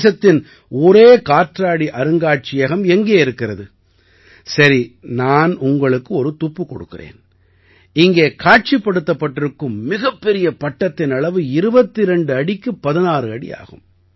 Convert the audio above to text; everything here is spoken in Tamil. தேசத்தின் ஒரே காற்றாடி அருங்காட்சியகம் எங்கே இருக்கிறது சரி நான் உங்களுக்கு ஒரு துப்பு கொடுக்கிறேன் இங்கே காட்சிப்படுத்தப்பட்டிருக்கும் மிகப்பெரிய பட்டத்தின் அளவு 22 அடிக்குப் 16 அடி ஆகும்